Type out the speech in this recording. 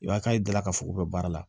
I b'a ka da la k'a fɔ k'u bɛ baara la